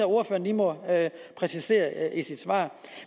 ordføreren må præcisere i sit svar